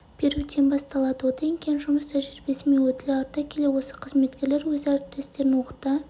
беруден басталады одан кейін жұмыс тәжірибесі мен өтілі арта келе осы қызметкерлер өз әріптестерін оқыта